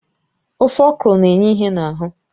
Ofe okro na-enye ìhè n'ahụ